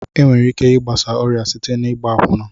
Enwere ike igbasa ọrịa site n'igba akwụna.